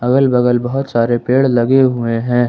अगल बगल बहुत सारे पेड़ लगे हुए हैं।